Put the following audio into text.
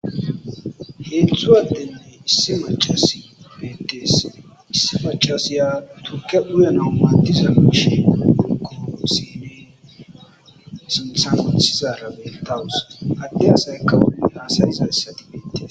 heetzu addenne issi macas betees issi macas yaa turke uyana matiza mashi u uko siney sinthan othizaara betawus adde asaykawopunaasa izayssai beites